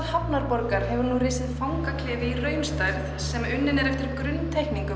hafnarborgar hefur risið fangaklefi í raunstærð sem unninn er eftir